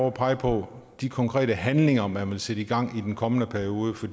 at pege på de konkrete handlinger man vil sætte i gang i den kommende periode for